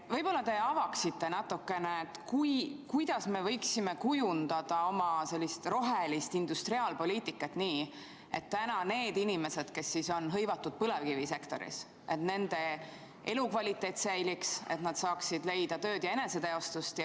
Võib-olla te avaksite natukene, kuidas me võiksime kujundada oma rohelist industriaalpoliitikat nii, et säiliks nende inimeste elukvaliteet, kes täna on hõivatud põlevkivisektoris, et nad saaksid leida tööd ja eneseteostust.